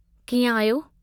कीअं आहियो?